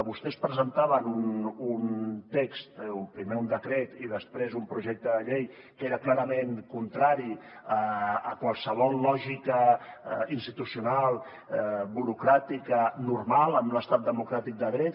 vostès presentaven un text primer un decret i després un projecte de llei que era clarament contrari a qualsevol lògica institucional burocràtica normal en un estat democràtic de dret